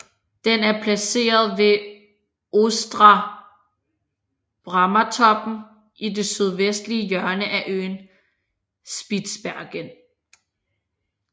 Den er placeret ved Ostra Bramatoppen i det sydvestlige hjørne af øen Spitsbergen